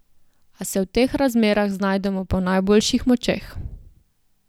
A se v teh razmerah znajdemo po najboljših močeh.